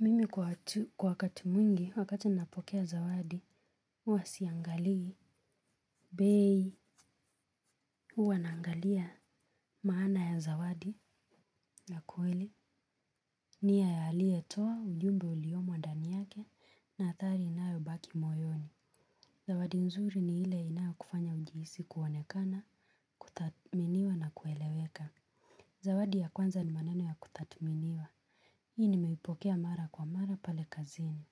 Mimi kwa wakati mwingi wakati ninapokea zawadi huwasiangalii bei huwa naangalia maana ya zawadi Nakweli nia ya aliyetoa ujumbe uliomo ndani yake na atari inayo baki moyoni Zawadi nzuri ni ile inayokufanya ujiisi kuoanekana kuthatminiwa na kueleweka Zawadi ya kwanza ni maneno ya kutathminiwa Hii nimeipokea mara kwa mara pale kazini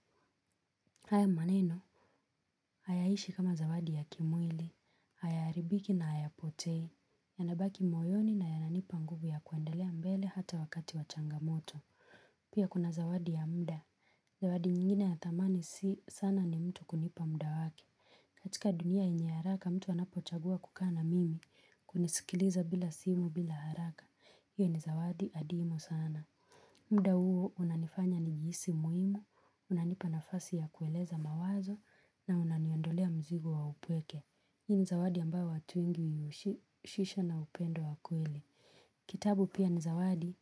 haya maneno Hayaishi kama zawadi ya kimwili, hayaaribiki na hayapotei, yanabaki moyoni na yananipa nguvu ya kuendelea mbele hata wakati wachangamoto. Pia kuna zawadi ya muda, zawadi nyingine ya thamani si sana ni mtu kunipa muda waki. Katika dunia yenye haraka mtu anapochagua kukaa na mimi, kunisikiliza bila simu bila haraka, hiyo ni zawadi adimu sana. Muda huo unanifanya nijihisi muhimu, unanipa nafasi ya kueleza mawazo na unaniondolea mzigo wa upweke. Hii ni zawadi ambayo watu wengi ushisha na upendo wa kweli. Kitabu pia ni zawadi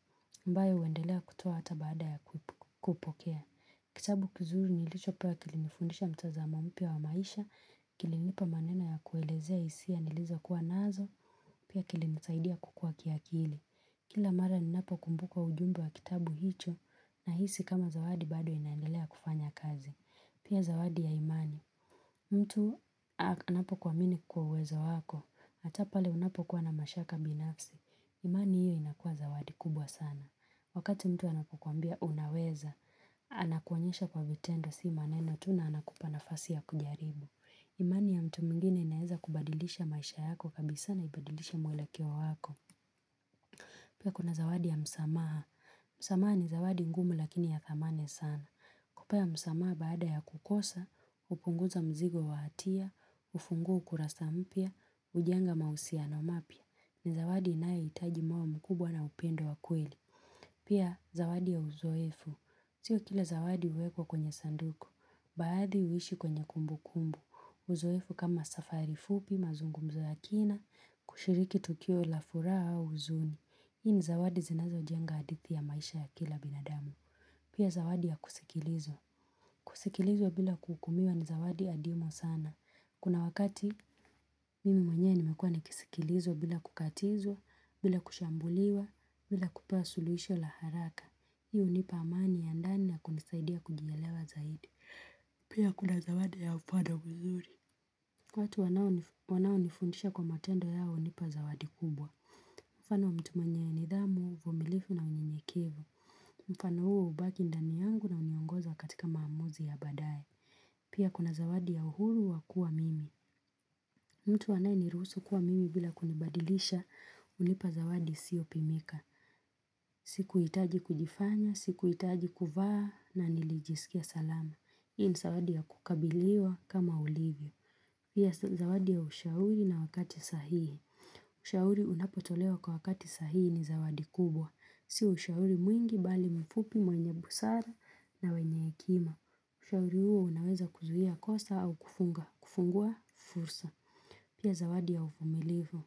ambayo uendelea kutoa hata baada ya kupokea. Kitabu kizuri nilichopewa kilinifundisha mtazamo mpia wa maisha, kilinipa manena ya kuelezea hisia nilizokuwa nazo, pia kilinisaidia kukua kiakili. Kila mara ninapo kumbuka ujumbe wa kitabu hicho nahisi kama zawadi bado inaendelea kufanya kazi. Pia zawadi ya imani, mtu anapokuamini kwa uwezo wako, hata pale unapo kuwa na mashaka binafsi, imani hiyo inakua zawadi kubwa sana. Wakati mtu anapokwambia unaweza, anakuonyesha kwa vitendo si maneno tu na anakupa nafasi ya kujaribu. Imani ya mtu mwinginei inaeza kubadilisha maisha yako kabisa na ibadilishe mwelekeo wako. Pia kuna zawadi ya msamaha, msamaha ni zawadi ngumu lakini ya thamani sana. Kupa ya msamaha baada ya kukosa, hupunguza mzigo wahatia, hufungua ukurasa mpia, ujenga mausiano mapia. Ni zawadi inayohitaji moyo mkubwa na upendo wa kweli. Pia zawadi ya uzoefu. Sio kila zawadi huwekwa kwenye sanduku. Baadhi huishi kwenye kumbu kumbu. Uzoefu kama safari fupi, mazungumzo ya kina, kushiriki tukio la furaha au huzuni. Hii ni zawadi zinazojenga hadithi ya maisha ya kila binadamu. Pia zawadi ya kusikilizwa kusikilizwa bila kuhukumiwa ni zawadi adimu sana Kuna wakati Mimi mwenyewe nimekuwa ni kisikilizwa bila kukatizwa bila kushambuliwa bila kupaa suluhisho la haraka Hi hunipa amani ya ndani na kunisaidia kujielewa zaidi Pia kuna zawadi ya upada mzuri watu wanaonifundisha kwa matendo yao hunipa zawadi kubwa Mfano wa mtu mwenye ya nidhamu, mvumilifu na unyenyekevu Mfano huo hubaki ndani yangu na huniongoza katika maamuzi ya badaye Pia kuna zawadi ya uhuru wakuwa mimi mtu anayeniruhusu kuwa mimi bila kunibadilisha unipa zawadi isiyopimika Sikuhitaji kujifanya, sikuhitaji kuvaa na nilijisikia salama hi ni zawadi ya kukabiliwa kama ulivyo hi ya zawadi ya ushauri na wakati sahihi Ushauri unapotolewa kwa wakati sahihi ni zawadi kubwa Si ushauri mwingi bali mfupi mwenye busara na wenye hekima Ushauri huo unaweza kuzuhia kosa au kufunga, kufungua fursa Pia zawadi ya uvumilifu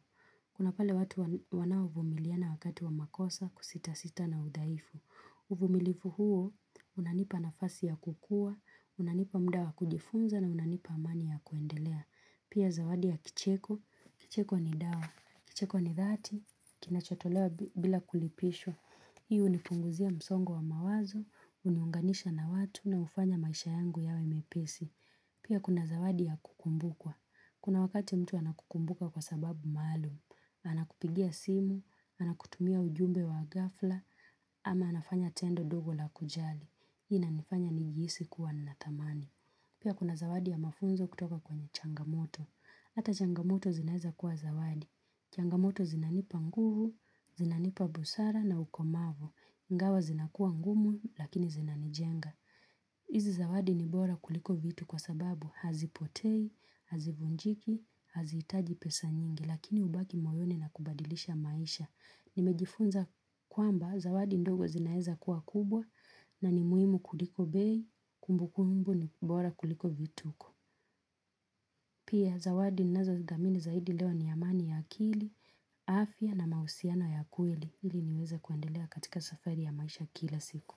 Kuna pale watu wanao fumiliana wakati wa makosa kusita sita na udhaifu uvumilifu huo unanipa nafasi ya kukua, unanipa muda wa kujifunza na unanipa amani ya kuendelea Pia zawadi ya kicheko, kicheko ni dawa, kicheko ni dhati, kinachotolewa bila kulipishwa hiyo hunipunguzia msongo wa mawazo, huniunganisha na watu na hufanya maisha yangu yawe mepesi. Pia kuna zawadi ya kukumbukwa. Kuna wakati mtu anakukumbuka kwa sababu maalum. Anakupigia simu, anakutumia ujumbe wa ghafla, ama anafanya tendo dogo la kujali. Hii inanifanya nijihisi kuwa natamani. Pia kuna zawadi ya mafunzo kutoka kwenye changamoto, ata changamoto zinaeza kuwa zawadi, changamoto zinanipa nguvu, zinanipa busara na ukomavo, ingawa zinakua ngumu lakini zinanijenga. Hizi zawadi ni bora kuliko vitu kwa sababu hazipotei, hazivunjiki, hazihitaji pesa nyingi lakini hubaki moyoni na kubadilisha maisha. Nimejifunza kwamba zawadi ndogo zinaeza kuwa kubwa na ni muhimu kuliko bei, kumbu kumbu ni bora kuliko vituko. Pia zawadi ninazozidhamini zaidi leo ni amani ya akili, afia na mahusiano ya kweli ili niweze kuandelea katika safari ya maisha kila siku.